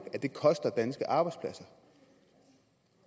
at det koster danske arbejdspladser